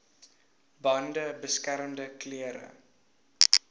bande beskermende klere